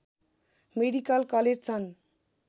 medical college छन्